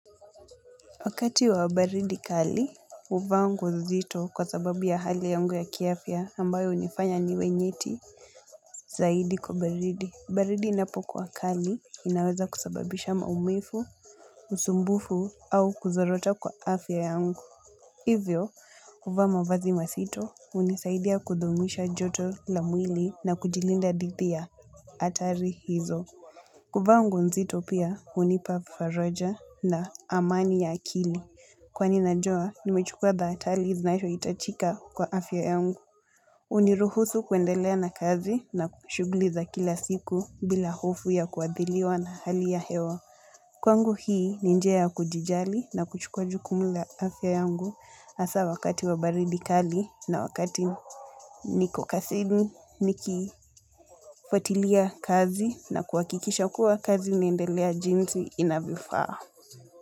Wakati wa baridi kali, huvaa nguo nzito kwa sababu ya hali yangu ya kiafya ambayo hunifanya niwe nyiti zaidi kwa baridi. Baridi inapokuwa kali inaweza kusababisha maumivu, usumbufu au kuzorota kwa afya yangu. Hivyo, kuvaa mavazi mazito hunisaidia kudumisha joto la mwili na kujilinda dhidi ya hatari hizo. Kuvaa nguo nzito pia hunipa faraja na amani ya akili. Kwani najua, nimechukua thahatari zinazo hitajika kwa afya yangu. Huniruhusu kuendelea na kazi na kwa shughuli liza kila siku bila hofu ya kuadhiriwa na hali ya hewa. Kwangu hii, ni njia ya kujijali na kuchukua jukumu la afya yangu hasa wakati wa baridi kali na wakati niko kazini. Nikifuatilia kazi na kuhakikisha kua kazi inaendelea jinsi inavyofaa.